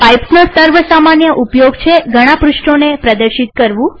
પાઈપ્સનો સર્વ સામાન્ય ઉપયોગ છે ઘણા પૃષ્ઠોને પ્રદર્શિત કરવું